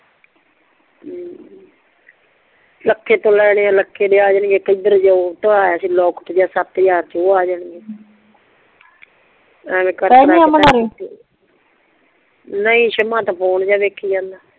ਲਖੇ ਤੋਂ ਲੈਣੇ ਆ ਲਖੇ ਦੇ ਆ ਜਾਣਗੇ ਇੱਕ ਏਦਰ ਜੇ ਆਯਾ ਸੀ ਲੋਕੇਟ ਜੀਅ ਸੱਤ ਹਜ਼ਾਰ ਚ ਦਾ ਨਾਲੇ ਓ ਜਾਣਗੇ ਨਹੀਂ ਸ਼ਿਮਾ ਤਾਂ ਫ਼ੋਨ ਜੀਅ ਵੇਖੀ ਜਾਂਦਾ